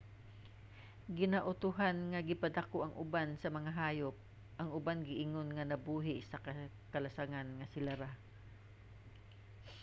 ginautohan nga gipadako ang uban sa mga hayop; ang uban giingon nga nabuhi sa kalasangan nga sila ra